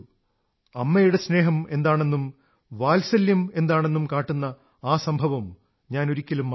അമ്മയുടെ സ്നേഹം എന്താണെന്നും വാത്സല്യമെന്താണെന്നും കാട്ടുന്ന ആ സംഭവം ഞാൻ ഒരിക്കലും മറക്കില്ല